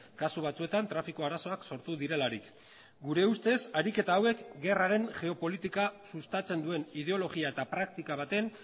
kasu batzuetan trafiko arazoak sortu direlarik gure ustez ariketa hauek gerraren geopolitika sustatzen duen ideologia eta praktika baten